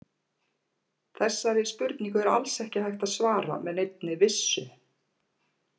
Þessari spurningu er alls ekki hægt að svara með neinni vissu.